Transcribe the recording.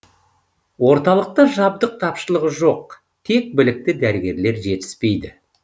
орталықта жабдық тапшылығы жоқ тек білікті дәрігерлер жетіспейді